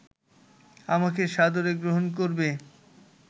আমাকে সাদরে গ্রহন করবে